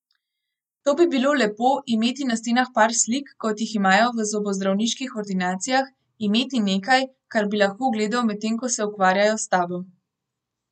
To bi bilo lepo, imeti na stenah par slik, kot jih imajo v zobozdravniških ordinacijah, imeti nekaj, kar bi lahko gledal, medtem ko se ukvarjajo s tabo.